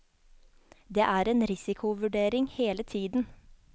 Det er en risikovurdering hele tiden.